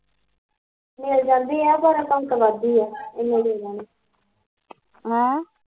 ਮਿਲ ਜਾਂਦੇ ਆ ਪਰ ਆਪਾਂ ਗੁਲਾਬੀ ਆ ਇਨੇ ਜਿਆਦਾ ਨੀ ਆਹ